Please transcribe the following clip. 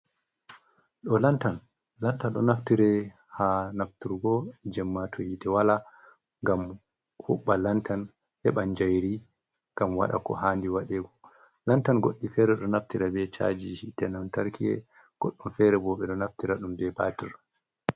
Ɗo lantan, lantan ɗo naftira ha nafturgo jemma to hite wala ngam huɓɓa lantan heban jayri ngam waɗa ko handi waɗego, lantan goɗɗi fere ɗo naftira be cajiji hite lantarki, goɗɗum fere bo beɗo naftira ɗum be batir.